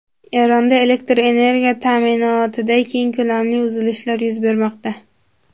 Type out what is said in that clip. Eronda elektr energiya ta’minotida keng ko‘lamli uzilishlar yuz bermoqda.